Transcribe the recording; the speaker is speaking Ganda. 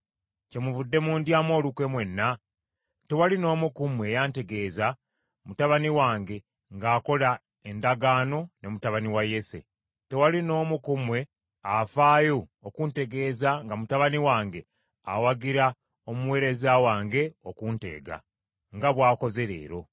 Kyemuvudde mundyamu olukwe mwenna? Tewali n’omu ku mmwe eyantegeeza mutabani wange ng’akola endagaano ne mutabani wa Yese. Tewali n’omu ku mmwe afaayo okuntegeeza nga mutabani wange awagira omuweereza wange okunteega, nga bw’akoze leero.”